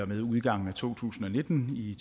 med udgangen af to tusind og nitten i